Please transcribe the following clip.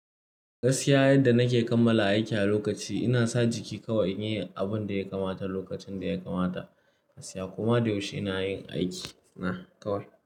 Gaskiya yadda nake kammala aiki a lokaci, ina sa jiki kawai in yi abun da ya kamata lokacin da ya kamata. Gaskiya koma da yaushe ina yin aiki na kawai.